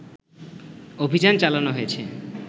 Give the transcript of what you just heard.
অভিযান চালানো হয়েছে